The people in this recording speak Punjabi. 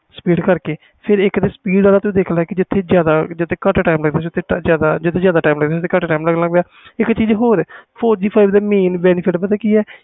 speed ਕਰਕੇ speed ਵਾਲਾ ਤੂੰ ਦੇਖ ਲੈ ਜਿਥੇ ਜਿਆਦਾ time ਲੱਗਦਾ ਸੀ ਓਥੇ ਘਟ time ਲੱਗਣ ਲੱਗ ਗਿਆ ਇਕ ਚੀਜ਼ ਹੋਰ four G five G mean ਦੇਖ ਲੈ